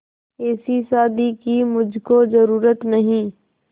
ऐसी शादी की मुझको जरूरत नहीं